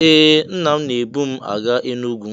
Ee! Nna m na-ebu m aga Enugwu.